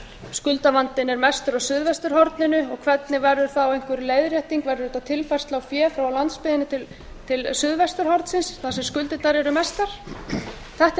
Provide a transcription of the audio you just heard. skuldavandinn er mestur á suðvesturhorninu og hvernig verður þá einhver leiðrétting verður þetta tilfærsla á fé frá landsbyggðinni til suðvesturhornsins þar sem skuldirnar eru mestar þetta eru